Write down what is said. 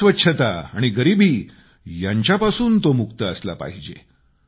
अस्वच्छता आणि गरीबी यांच्यापासून तो मुक्त असला पाहिजे